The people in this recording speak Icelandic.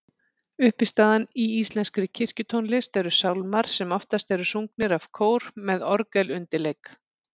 Uppistaðan í íslenskri kirkjutónlist eru sálmar sem oftast eru sungnir af kór með orgelundirleik.